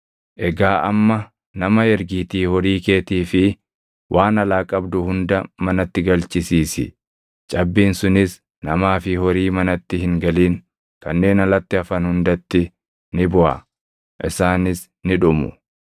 Egaa amma nama ergiitii horii keetii fi waan alaa qabdu hunda manatti galchisiisi; cabbiin sunis namaa fi horii manatti hin galin kanneen alatti hafan hundatti ni buʼa; isaanis ni dhumu.’ ”